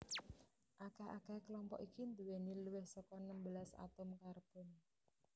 Akeh akehe klompok iki nduweni luwih saka enem belas atom karbon